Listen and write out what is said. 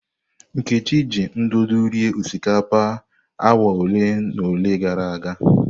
Nkechi ji ndụdụ rie osikapa awa ole na ole gara aga.